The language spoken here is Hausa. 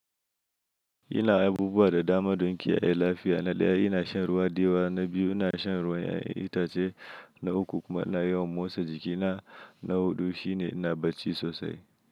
Ina abubuwa da dama don kiyaye lafiya. Na ɗaya, ina shan ruwa diyawa. Na biyu, ina shan ruwan ya'iyan itace. Na uku kuma ina yawan motsa jikina. Na huɗu shi ne ina bacci sosai.